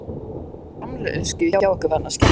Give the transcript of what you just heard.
Helga: Seinkar framleiðslu hjá ykkur vegna skjálftans?